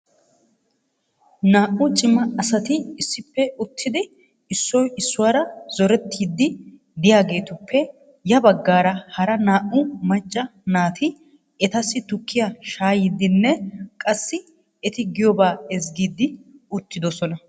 Naa''u cima asati issippe uttidi issoy issuwaara zorettidi de'iyaageetuppe ya baggaara hara naa''u macca naati etassi tukkiyaa shaayyidinne qassi eti giyooba ezggiidi uttidoosona.